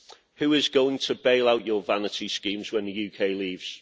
Who is going to bail out your vanity schemes when the UK leaves?